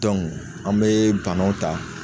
an bee banaw ta